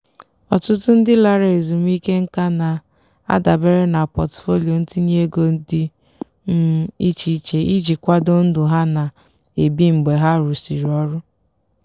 ọtụtụ ndị lara ezumike nka na-adabere na pọtụfoliyo ntinye ego dị um iche iche iji kwado ndụ ha na-ebi mgbe ha rụsịrị ọrụ.